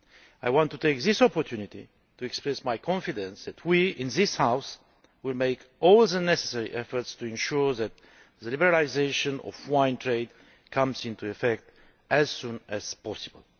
I want to take this opportunity to express my confidence that we in this House will make all necessary efforts to ensure that the liberalisation of the wine trade comes into effect as soon as possible.